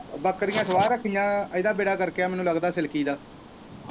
ਬੱਕਰੀਆ ਸਵਾ ਰੱਖਣੀਆ ਇਦਾ ਵਿਹੜਾ ਗਰਕ ਐ ਮੈਨੂੰ ਲੱਗਦਾ ਸਿਲਕੀ ਦਾ।